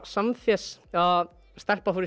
Samfés að stelpa fór í